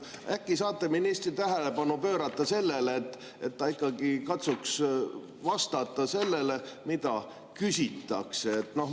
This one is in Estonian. Äkki saate ministri tähelepanu pöörata sellele, et ta ikkagi katsuks vastata sellele, mida küsitakse?